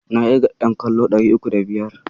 Na ƙirga ƴan kallo ɗari uku da biyar.